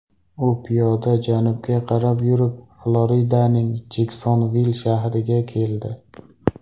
U piyoda janubga qarab yurib, Floridaning Jeksonvill shahriga keldi.